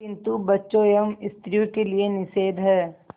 किंतु बच्चों एवं स्त्रियों के लिए निषेध है